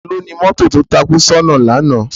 Táló ni mòtó tó tákú sòná làná?